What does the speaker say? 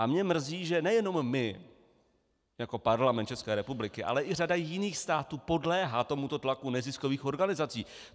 A mě mrzí, že nejenom my jako Parlament České republiky, ale i řada jiných států podléhá tomuto tlaku neziskových organizací.